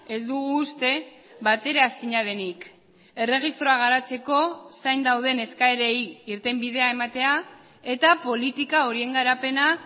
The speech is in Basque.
ez dugu uste bateraezina denik erregistroa garatzeko zain dauden eskaerei irtenbidea ematea eta politika horien garapena